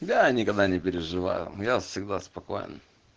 да никогда не переживаю я всегда спокоен